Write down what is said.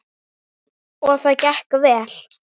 Og það gekk vel.